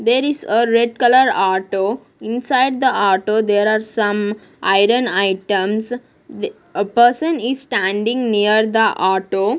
there is ah red colour auto inside the auto there are some iron items the a person is standing near the auto.